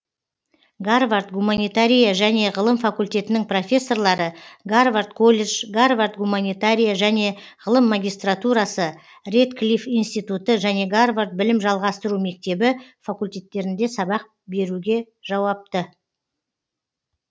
гарвард гуманитария және ғылым факультетінің професорлары гарвард колледж гарвард гуманитария және ғылым магистратурасы редклиф институты және гарвард білім жалғастыру мектебі факультеттерінде сабақ беруге жауапты